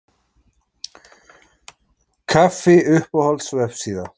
kaffi Uppáhalds vefsíða?